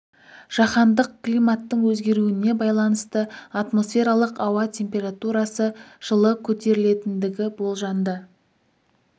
жаһандық климаттың өзгеруіне байланысты атмосфералық ауа температурасы жылы көтерілетіндігі болжанды